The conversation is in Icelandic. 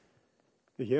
hér er